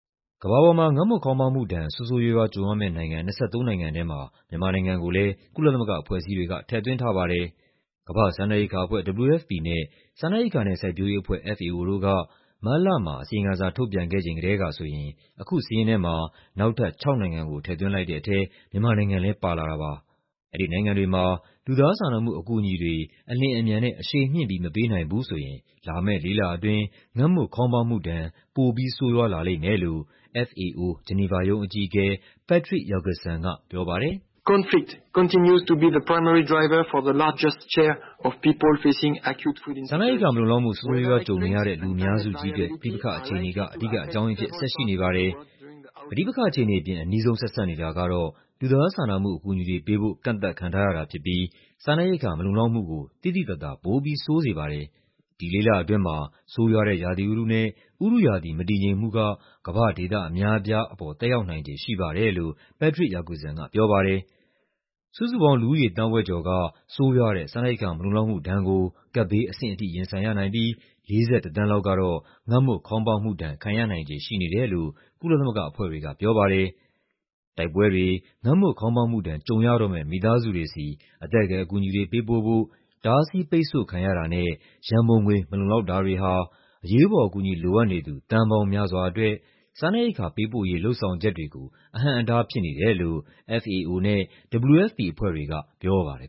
ကမ္ဘာပေါ်မှာ ငတ်မွတ်ခေါင်းပါးမှုဒဏ် ဆိုးဆိုးရွားရွားကြုံရမယ့်နိုင်ငံ ၂၃ နိုင်ငံထဲမှာ မြန်မာနိုင်ငံကိုလည်း ကုလသမဂ္ဂအဖွဲ့အစည်းတွေက ထည့်သွင်းထားပါတယ်။ ကမ္ဘာ့စားနပ်ရိက္ခာအဖွဲ့ (WFP) နဲ့ စားနပ်ရိက္ခာနဲ့ စိုက်ပျိုးရေးအဖွဲ့ (FAO) တို့က မတ်လမှာ အစီရင်ခံစာ ထုတ်ပြန်ခဲ့ချိန်ကတည်းကဆိုရင် အခုစာရင်းထဲမှာ နောက်ထပ်ခြောက်နိုင်ငံကို ထည့်သွင်းလိုက်တဲ့ထဲ မြန်မာနိုင်ငံလည်း ပါလာတာပါ။ အဲဒီနိုင်ငံတွေမှာ လူသားစာနာမှုအကူအညီတွေ အလျင်အမြန် အရှိန်မြှင့်ပြီး မပေးနိုင်ဘူးဆိုရင် လာမယ့်လေးလအတွင်း ငတ်မွတ်ခေါင်းပါးမှုဒဏ် ပိုပြီးဆိုးရွားလာလိမ့်မယ်လို့ FAO ဂျီနီဗာရုံးအကြီးအကဲ Patrick Jacqueson ကပြောပါတယ်။ "စားနပ်ရိက္ခာ မလုံလောက်မှု ဆိုးဆိုးရွားရွားကြုံနေရတဲ့ လူအများစုကြီးအတွက် ပဋိပက္ခအခြေအနေက အဓိကအကြောင်းရင်းအဖြစ် ဆက်ရှိနေပါတယ်။ ပဋိပက္ခအခြေအနေအပြင် အနီးဆုံးဆက်စပ်နေတာကတော့ လူသားစာနာမှု အကူအညီတွေပေးဖို့ ကန့်သတ်ခံထားရတာဖြစ်ပြီး စားနပ်ရိက္ခာမလုံလောက်မှုကို သိသိသာသာ ပိုပြီးဆိုးရွားစေပါတယ်။ ဒီလေးလအတွင်းမှာ ဆိုးရွားတဲ့ ရာသီဥတုနဲ့ ဥတုရာသီ မတည်ငြိမ်မှုက ကမ္ဘာ့ဒေသအများအပြားပေါ်သက်ရောက်နိုင်ခြေရှိပါတယ်" လို့ Patrick Jacqueson ကပြောပါတယ်။ စုစုပေါင်းလူဦးရေ သန်းဝက်ကျော်က ဆိုးရွားတဲ့ စားနပ်ရိက္ခာ မလုံလောက်မှုဒဏ်ကို ကပ်ဘေးအဆင့်ထိ ရင်ဆိုင်ရနိုင်ပြီး ၄၁ သန်းလောက်ကတော့ ငတ်မွတ်ခေါင်းပါးမှုဒဏ် ခံရနိုင်ခြေရှိနေတယ်လို့ ကုလသမဂ္ဂအဖွဲ့တွေကပြောပါတယ်။ တိုက်ပွဲတွေ၊ ငတ်မွတ်ခေါင်းပါးမှုဒဏ် ကြုံရတော့မယ့် မိသားစုတွေဆီ အသက်ကယ်အကူအညီတွေ ပေးပို့ဖို့ တားဆီးပိတ်ဆို့ခံရတာနဲ့ ရန်ပုံငွေ မလုံလောက်တာတွေဟာ အရေးပေါ်အကူအညီ လိုအပ်နေသူ သန်းပေါင်းများစွာအတွက် စားနပ်ရိက္ခာပေးပို့ရေး လုပ်ဆောင်ချက်တွေကို အဟန့်အတားဖြစ်နေတယ်လို့ FAO နဲ့ WFP အဖွဲ့တွေကပြောပါတယ်